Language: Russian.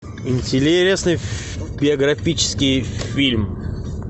интересный биографический фильм